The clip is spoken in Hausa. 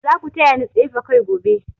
Za ku taya ni tsefe kai gobe.